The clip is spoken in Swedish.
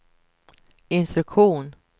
instruktion